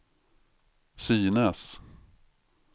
synes